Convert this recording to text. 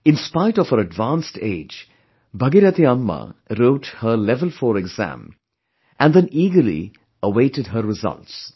In spite of her advanced age, Bhagirathi Amma wrote her level 4 exam...and then eagerly awaited her results